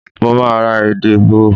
Mo máa ra ede bò.